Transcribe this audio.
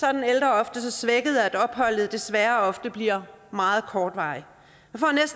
er den ældre ofte så svækket at opholdet desværre ofte bliver meget kortvarigt